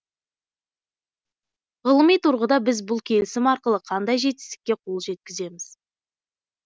ғылыми тұрғыда біз бұл келісім арқылы қандай жетістікке қол жеткіземіз